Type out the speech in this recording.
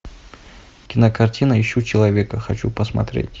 кинокартина ищу человека хочу посмотреть